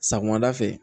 Sakomada fɛ